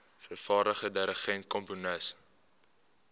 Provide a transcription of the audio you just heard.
vervaardiger dirigent komponis